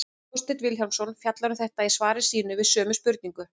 Þorsteinn Vilhjálmsson fjallar um þetta í svari sínu við sömu spurningu.